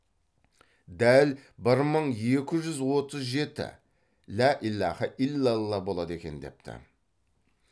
дәл бір мың екі жүз отыз жеті лә илаһа илалла болады екен депті